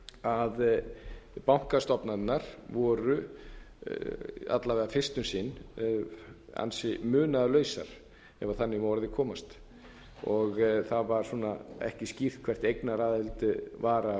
að bankastofnanirnar voru alla veg fyrst um sinn ansi munaðarlausar ef þannig má að orði komast það var ekki svona skýrt hvert eignaraðild var